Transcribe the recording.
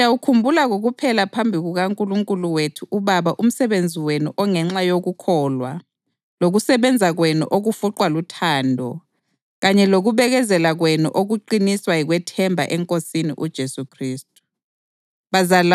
Siyawukhumbula kokuphela phambi kukaNkulunkulu wethu uBaba umsebenzi wenu ongenxa yokukholwa lokusebenza kwenu okufuqwa luthando kanye lokubekezela kwenu okuqiniswa yikwethemba eNkosini uJesu Khristu.